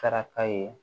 Saraka ye